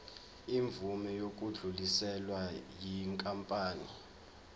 imvume yokudluliselwa yinkampani